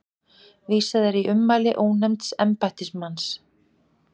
Vísað er í ummæli ónefnds embættismanns